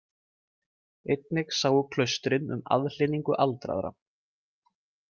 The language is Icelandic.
Einnig sáu klaustrin um aðhlynningu aldraðra.